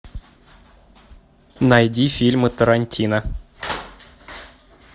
найди фильмы тарантино